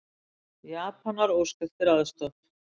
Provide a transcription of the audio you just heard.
Japanar óska eftir aðstoð